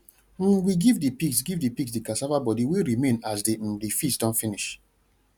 um we give the pigs give the pigs the cassava body way remain as the um the feast don finish